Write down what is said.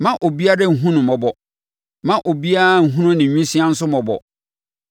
Mma obiara nhunu no mmɔbɔ Mma obiara nhunu ne nwisiaa nso mmɔbɔ.